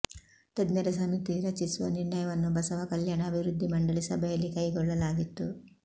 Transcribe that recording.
ತಜ್ಞರ ಸಮಿತಿ ರಚಿಸುವ ನಿರ್ಣಯವನ್ನು ಬಸವ ಕಲ್ಯಾಣ ಅಭಿವೃದ್ಧಿ ಮಂಡಳಿ ಸಭೆಯಲ್ಲಿ ಕೈಗೊಳ್ಳಲಾಗಿತ್ತು